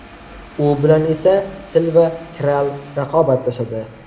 U bilan esa Til va Kral raqobatlashadi.